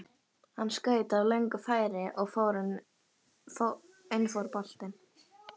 Hann skaut af löngu færi og inn fór boltinn.